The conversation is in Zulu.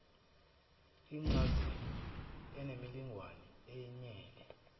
incazelo eneminingwane eyenele